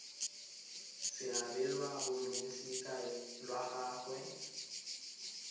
se abelwa balosika lwa gagwe